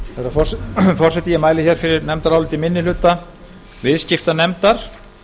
forseti ég mæli hér fyrir nefndaráliti minni hluta viðskiptanefndar